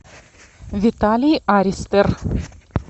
виталий аристер